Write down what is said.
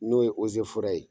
N'o ye ozeforɛ ye